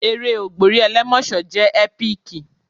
Eré ògbórí ẹlẹ́mọ̀ṣọ́ jẹ́ ẹ́píkì.